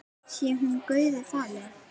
Sé hún Guði falin.